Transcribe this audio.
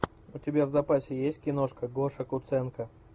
у тебя в запасе есть киношка гоша куценко